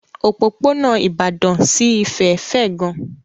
Òpópónà Ìbàdàn sí Ifẹ̀ fẹ̀ gan.